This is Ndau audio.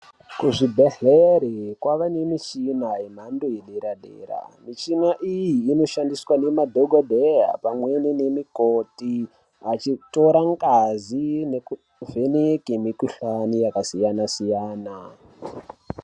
Kuzvibhedhlera kwava nemichina yemhando yedera dera, michina iyi inoshandiswa nemadhokodheya pamweni nemikoti achitora ngazi nekuvheneke mukuhlani yakasiyana-siyana.